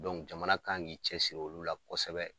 jamana kan k'i cɛsiri olu la kosɛbɛ.